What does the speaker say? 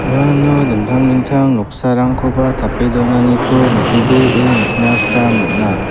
uano dingtang dingtang noksarangkoba tape donaniko nitobee nikna gita man·a.